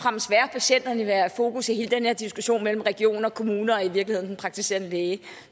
patienterne være i fokus i hele den her diskussion mellem region og kommune og i virkeligheden den praktiserende læge